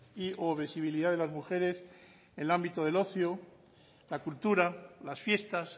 y o visibilidad de las mujeres en el ámbito del ocio la cultura las fiestas